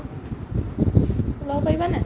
ওলা'ব পাৰিবা নে নাই ?